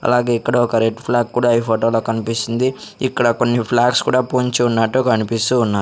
అలాగే ఇక్కడ ఒక రెడ్ ఫ్లాగ్ కూడా ఈ ఫోటో లో కన్పిస్తుంది ఇక్కడ కొన్ని ఫ్లవర్స్ కూడా పూంచి ఉన్నట్టు కనిపిస్తూ ఉన్న --